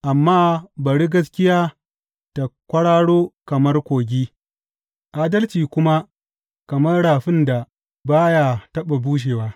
Amma bari gaskiya ta kwararo kamar kogi, adalci kuma kamar rafin da ba ya taɓa bushewa!